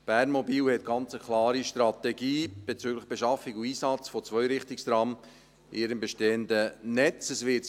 Bernmobil hat bezüglich Beschaffung und Einsatz von Zweirichtungstrams in seinem bestehenden Netz eine ganz klare Strategie.